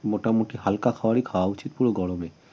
মোটামুটি হালকা খাবারই খাওয়া উচিত পুরো গরমে